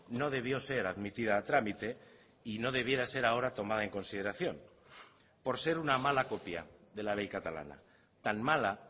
no debió ser admitida a trámite y no debiera ser ahora tomada en consideración por ser una mala copia de la ley catalana tan mala